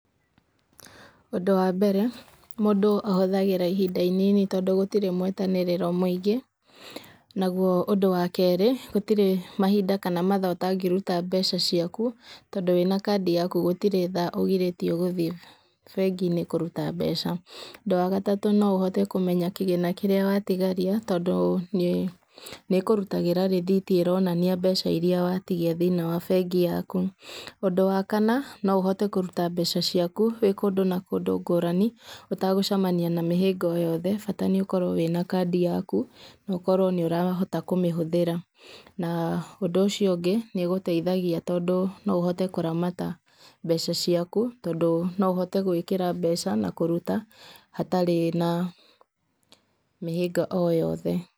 Ũndũ wa mbere mũndũ ahũthagĩra ihinda inini tondũ gũtirĩ mwetanĩrĩrwo nagũo ũndũ wa kerĩ gũtirĩ mahinda kana mathaa ũtangĩruta mbeca ciaku tondũ wĩna kadi yaku gũtirĩ thaa ũgirĩtĩo gũthĩe bengi-inĩ kũruta mbeca. Ũndũ wa gatatũ no ũhote kũmenya kĩgĩna kĩrĩa watigaria tondũ nĩkũrutagĩra rĩthiti ĩronania mbeca iria watigia thĩinĩe wa bengi yaku. Ũndũ wa kana no ũhote kũruta mbeca ciaku wĩ kũndũ na kúũdũ ngũrani ũtagũcamania na mĩhĩnga o yothe bata nĩũkorwo wĩna kadi yaku na ũkorwo nĩũrahota kũmĩhũthĩra. Na ũndũ ũcio ũngĩ nĩũgũteithagia tondũ no ũhote kũramata mbeca ciaku tondũ no ũhote gũĩkĩra mbeca na kũruta hatarĩ na mĩhĩnga o yothe.